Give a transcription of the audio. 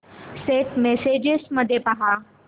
Saint messages मध्ये पहा